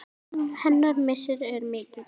Hennar missir er mikill.